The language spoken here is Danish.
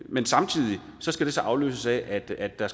men samtidig skal det så afløses af at der